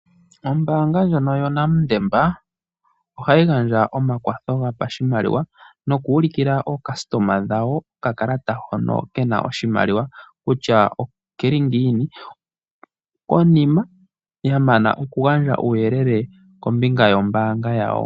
Ombaanga ndjono yoNedbank ohayi gandja omakwatho gopashimaliwa noku ulukila aayakulwa yawo okakalata hono kena oshimaliwa kutya oke li ngiini, konima yamana oku gandja uuyelele kombinga yombaanga yawo.